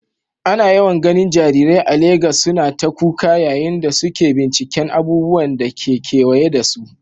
Ana yawan ganin jarirai a Legas suna ta kuka yayin da suke binciken abubuwan da ke kewaye da su.